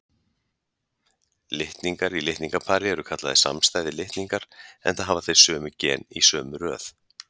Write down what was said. Litningar í litningapari eru kallaðir samstæðir litningar, enda hafa þeir sömu gen í sömu röð.